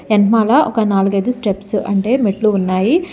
వెనకమాల ఒక నాలుగైదు స్టెప్స్ అంటే మెట్లు ఉన్నాయి.